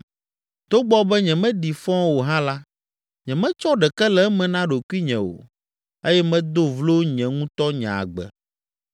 “Togbɔ be nyemeɖi fɔ o hã la, nyemetsɔ ɖeke le eme na ɖokuinye o eye medo vlo nye ŋutɔ nye agbe.